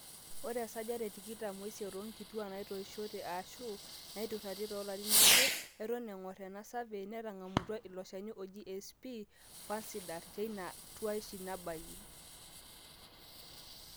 ore 28% oonkituaak naatoishote aashu naataruetie toolarin aare eton engor ena survey netang'amutua ilo shani oji sp/fansidar teina tuaishu nabayie